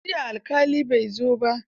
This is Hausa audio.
Jiya alƙalin bai zo ba.